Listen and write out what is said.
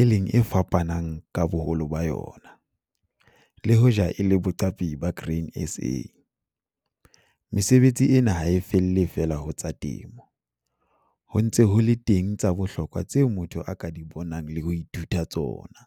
e leng e fapanang ka boholo ba yona - le hoja e le boqapi ba Grain SA, mesebetsi ena ha e felle feela ho tsa temo - ho ntse ho le teng tsa bohlokwa tseo motho a ka di bonang le ho ithuta tsona.